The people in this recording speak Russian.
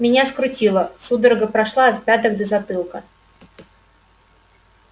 меня скрутило судорога прошла от пяток до затылка